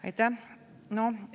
Aitäh!